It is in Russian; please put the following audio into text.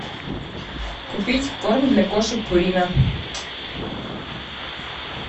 купить корм для кошек пурина